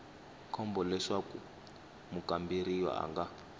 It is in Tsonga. komba leswaku mukamberiwa a nga